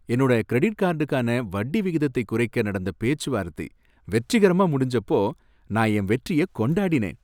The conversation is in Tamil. என்னோட கிரெடிட் கார்டுக்கான வட்டி விகிதத்தை குறைக்க நடந்த பேச்சுவார்த்தை வெற்றிகரமா முடிஞ்சப்போ நான் என் வெற்றிய கொண்டாடினேன்.